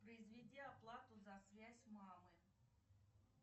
произведи оплату за связь мамы